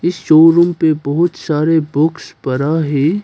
इस शोरूम पे बहुत सारे बॉक्स पड़ा है।